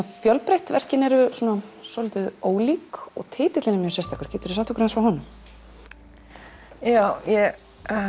fjölbreytt verkin eru svolítið ólík og titillinn er mjög sérstakur geturðu sagt okkur aðeins frá honum já ég